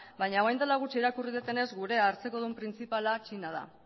baina orain dela gutxi irakurri dudanez gure hartzekodun printzipala txina da